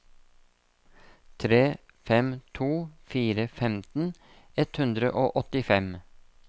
tre fem to fire femten ett hundre og åttifem